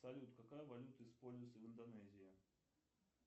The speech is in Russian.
салют какая валюта используется в индонезии